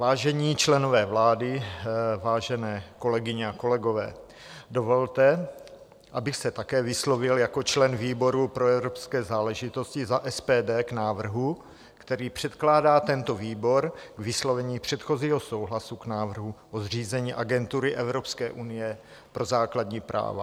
Vážení členové vlády, vážené kolegyně a kolegové, dovolte, abych se také vyslovil jako člen výboru pro evropské záležitosti za SPD k návrhu, který předkládá tento výbor k vyslovení předchozího souhlasu k návrhu o zřízení Agentury Evropské unie pro základní práva.